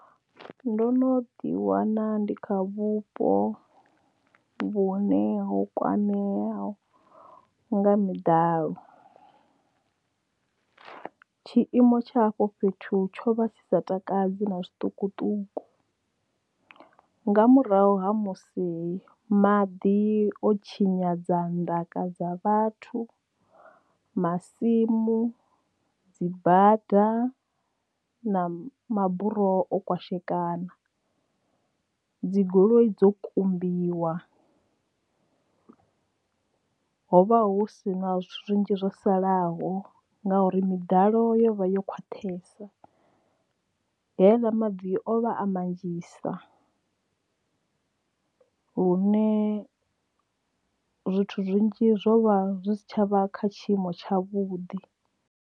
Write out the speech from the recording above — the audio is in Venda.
Ndo no ḓi wana ndi kha vhupo vhune ho kwameaho nga miḓalo. Tshiimo tsha afho fhethu tsho vha tshi sa takadzi na tshiṱukuṱuku nga murahu ha musi maḓi o tshinyadza ndaka dza vhathu, masimu, dzi bada na maburoho o kwashekana dzi goloi dzo kumbiwa hovha hu si na zwinzhi zwo salaho ngauri miḓalo yo vha yo khwaṱharsh heiḽa maḓi o vha a manzhisa hune zwithu zwinzhi zwo vha zwi si tshavha kha tshiimo tshavhuḓi.